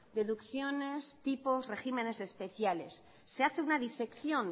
deducciones tipo regímenes especiales se hace una disección